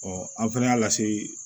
an fɛnɛ y'a lase